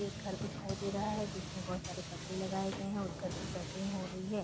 एक घर दिखाई दे रहा है जिसमें बहोत सारे पटरी लगाए गए हैं और उस घर की शेटरिंग हो रही है।